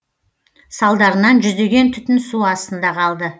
салдарынан жүздеген түтін су астында қалды